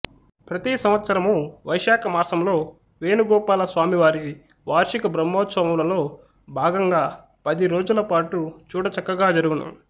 ప్రతి సంవత్సరము వైశాఖమాసంలో వేణుగోపాలస్వామివారి వార్షికబ్రమ్హోత్సవములలోభాగంగా పదిరోజులపాటు చూడ చక్కగా జరుగును